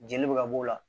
Jeli bɛ ka b'o la